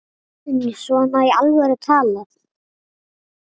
Guðný: Svona í alvöru talað?